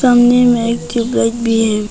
सामने में एक ट्यूबलाइट भी है।